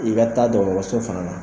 I ka taa dɔgɔtɔrɔso fana na.